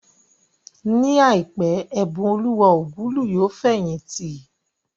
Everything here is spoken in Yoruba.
Ní àìpé, Ẹ̀bùnoluwa Ogulu yóò fẹ̀yìntì